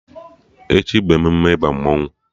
Echi bụ emume ịba mmanwụ